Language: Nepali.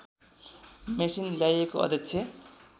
मेसिन ल्याइएको अध्यक्ष